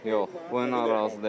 Yox, bu ilə narazı deyiləm.